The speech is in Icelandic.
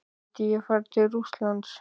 Myndi ég fara til Rússlands?